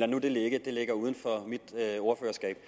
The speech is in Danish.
det nu ligge det ligger uden for mit ordførerskab